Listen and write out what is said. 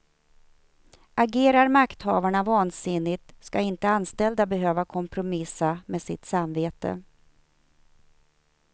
Agerar makthavarna vansinnigt ska inte anställda behöva kompromissa med sitt samvete.